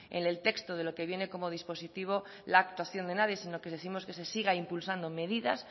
en el texto de lo que viene como dispositivo la actuación de nadie sino que décimos que se sigan impulsando medidas